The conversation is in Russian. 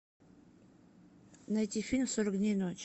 найти фильм сорок дней ночи